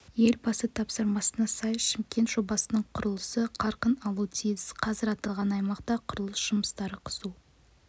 елбасы тапсырмасына сай шымкент жобасының құрылысы қарқын алу тиіс қазір аталған аймақта құрылыс жұмыстары қызу